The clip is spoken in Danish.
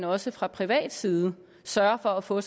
også fra privat side sørger for at få